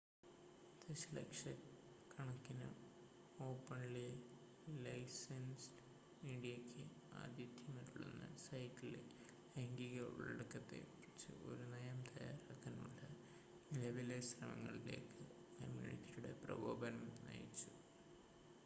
ദശലക്ഷക്കണക്കിന് ഓപ്പൺലി-ലൈസെന്സ്ഡ് മീഡിയക്ക് ആതിഥ്യമരുളുന്ന സൈറ്റിലെ ലൈംഗിക ഉള്ളടക്കത്തെ കുറിച്ച് ഒരു നയം തയ്യാറാക്കാനുള്ള നിലവിലെ ശ്രമങ്ങളിലേക്ക് കമ്മ്യൂണിറ്റിയുടെ പ്രകോപനം നയിച്ചു